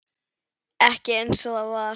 Ekki einsog það var.